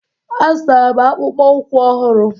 A zụtara m akpụkpọ ụkwụ ọhụrụ.